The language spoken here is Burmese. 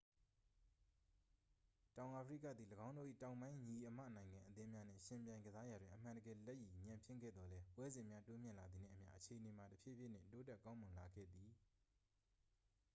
တောင်အာဖရိကသည် ၎င်းတို့၏ တောင်ပိုင်းညီအစ်မနိုင်ငံအသင်းများနှင့် ယှဉ်ပြိုင်ကစားရာတွင် အမှန်တကယ် လက်ရည်ညံ့ဖျင်းခဲ့သော်လည်း ပွဲစဉ်များတိုးမြင့်လာသည်နှင့်အမျှ အခြေအနေမှာ တဖြည်းဖြည်းနှင့် တိုးတက်ကောင်းမွန်လာခဲ့သည်